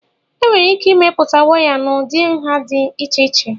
enwere ike imepụta waya n'ụdị nha dị iche iche